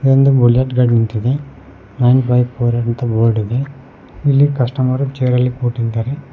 ಇದೊಂದು ಬುಲೆಟ್ ಗಾಡಿ ನಿಂತಿದೆ ನೈನ್ ಫೈವ್ ಫೋರ್ ಅಂತ ಬೋರ್ಡ್ ಇದೆ ಇಲ್ಲಿ ಕಸ್ಟಮರ್ ಚೇರ್ ಅಲ್ಲಿ ಕೂತಿದ್ದಾರೆ.